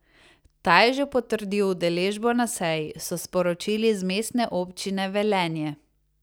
Ta je že potrdil udeležbo na seji, so sporočili z Mestne občine Velenje.